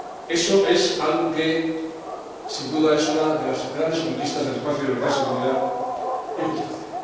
Eso constituye sin duda una de las grandes conquistas del espacio de libertad, seguridad y justicia.